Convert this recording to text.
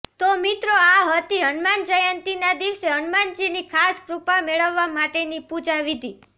તો મિત્રો આ હતી હનુમાન જયંતીના દિવસે હનુમાનજીની ખાસ કૃપા મેળવવા માટેની પૂજા વિધિ